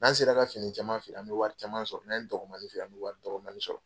N'an sera ka fini caman feere an bi wari caman sɔrɔ, n'an ye dɔgɔmanin feere an bi waria dɔgɔmanin sɔrɔ.